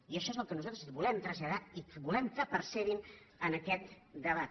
i això és el que nosaltres volem traslladar i volem que percebin en aquest debat